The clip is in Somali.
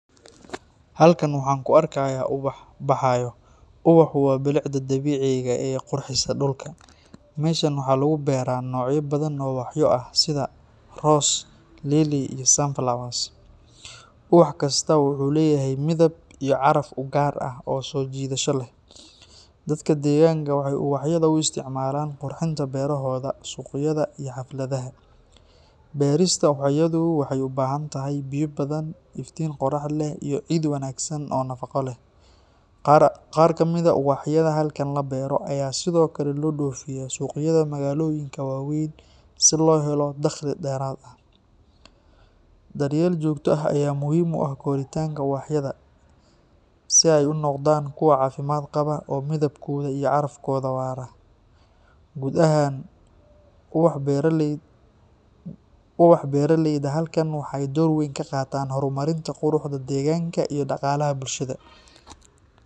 Halkan waxaan ku arkayaa ubax baxayo. Ubaxu waa bilicda dabiiciga ah ee qurxisa dhulka. Meeshaan waxaa lagu beeraa noocyo badan oo ubaxyo ah sida rose, lily, iyo sunflowers. Ubax kastaa wuxuu leeyahay midab iyo caraf u gaar ah oo soo jiidasho leh. Dadka deegaanka waxay ubaxyada u isticmaalaan qurxinta beerohooda, suuqyada, iyo xafladaha. Beerista ubaxyadu waxay u baahan tahay biyo badan, iftiin qorax leh, iyo ciid wanaagsan oo nafaqo leh. Qaar ka mid ah ubaxyada halkan la beero ayaa sidoo kale loo dhoofiyaa suuqyada magaalooyinka waaweyn si loo helo dakhli dheeraad ah. Daryeel joogto ah ayaa muhiim u ah koritaanka ubaxyada si ay u noqdaan kuwo caafimaad qaba oo midabkooda iyo carafkooda waara. Guud ahaan, ubax beeraleyda halkan waxay door weyn ka qaataan horumarinta quruxda deegaanka iyo dhaqaalaha bulshada.